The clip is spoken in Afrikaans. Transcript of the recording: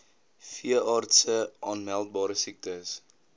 veeartse aanmeldbare siektes